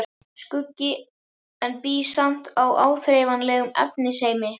Skuggi, en bý samt í áþreifanlegum efnisheimi.